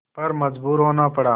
पर मजबूर होना पड़ा